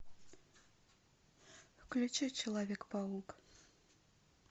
включи человек паук